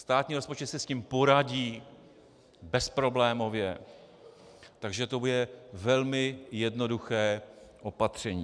Státní rozpočet si s tím poradí bezproblémově, takže to bude velmi jednoduché opatření.